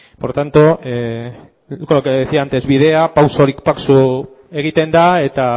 por tanto con lo que decía antes bidea pausorik pauso egiten da eta